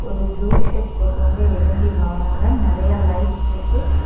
ஒரு blue shirt போட்டவங்க எழும்பி வாராங்க நிறைய லைட் இருக்கு.